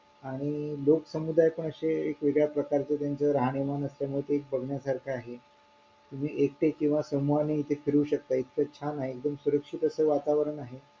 आणि लोकसमुदाय पण असे एक वेगळ्या प्रकारचं त्यांचं राहणीमान असल्यामुळे ते बघण्यासारखं आहे तुम्ही एकटे किंवा समूहाने इथे फिरू शकता इतकं छान आहे एकदम सुरक्षित असं वातावरण आहे